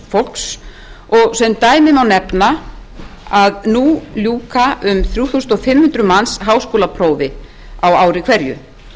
fólks og sem dæmi má nefna að nú ljúka um þrjú þúsund fimm hundruð háskólaprófi á ári hverju